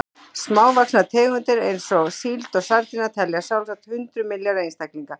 Smávaxnar tegundir eins og síld og sardínur telja sjálfsagt hundruð milljarða einstaklinga.